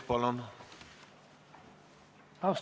Palun!